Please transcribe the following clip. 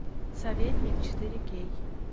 советник четыре кей